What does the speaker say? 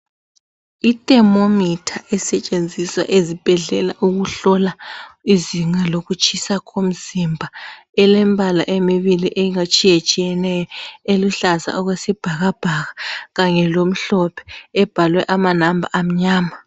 I thermometer esetshenziswa ezibhedlela ukuhlola izinga lokutshisa ko mzimba. Elembala emibili etshiyatshiyeneyo. Eluhlaza okwesibhakabhaka kanye lo mhlophe. Ebhalwe ama number amnyama.